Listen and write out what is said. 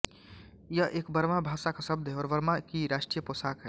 यह एक बर्मा भाषा का शब्द है और बर्मा की राष्ट्रीय पोषाक है